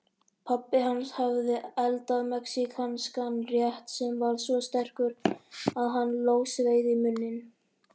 Pabbi hans hafði eldað mexíkanskan rétt sem var svo sterkur að hann logsveið í munninn.